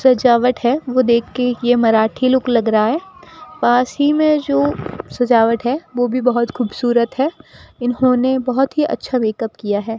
सजावट है वो देख के ये मराठी लुक लग रहा है पास ही में जो सजावट है वो भी बहुत खुबसूरत है इन्होंने बहुत ही अच्छा मेकअप किया है।